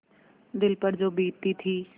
दिल पर जो बीतती थी